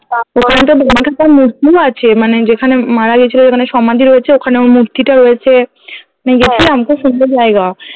ওখানটায়তো বামাক্ষ্যাপার মূর্তি আছে মানে যেখানে উম মারা গেছিলো ওইখানে সমাধি হয়েছে ওখানেও মূর্তিটাও রয়েছে আমি খুব সুন্দর জায়গা